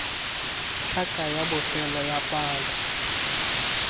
tlhaka ya bofelo ya palo